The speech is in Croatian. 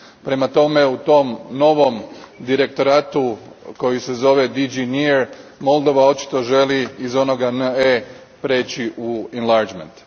Prema tome, u tom novom direktoratu koji se zove DG NEAR, Moldova očito želi iz onoga NE prijeći u enlargement.